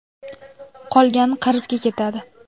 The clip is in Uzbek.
Qolgani qarzga ketadi.